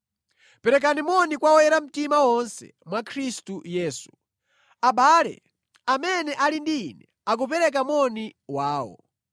Perekani moni kwa oyera mtima onse mwa Khristu Yesu. Abale amene ali ndi ine akupereka moni wawo.